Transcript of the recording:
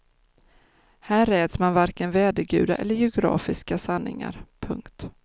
Här räds man varken vädergudar eller geografiska sanningar. punkt